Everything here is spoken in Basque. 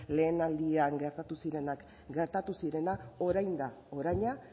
lehenaldian gertatu zirenak gertatu zirenak orain da oraina